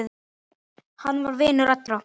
Hann var vinur allra.